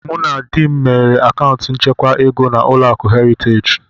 Mụ na di m meghere akaụntụ nchekwa ego na Ụlọakụ Heritage